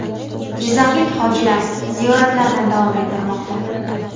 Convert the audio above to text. Jizzaxlik hojilar ziyoratlarini davom ettirmoqda.